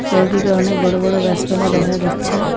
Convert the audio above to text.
চারিদিকে অনেক বড়ো বড়ো গাসপালা দেখা যাচ্ছে।